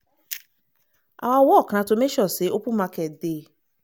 “our work na to make sure say open market dey.